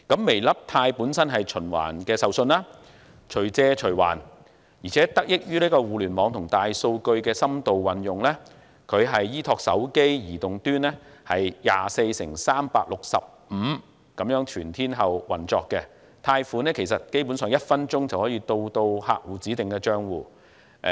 "微粒貸"本身是循環授信、隨借隨還業務，而且得益於互聯網和大數據的深度運用，它依託手機移動端 24x365 全天候業務運作，基本上，貸款在1分鐘內就可以到達客戶指定帳戶。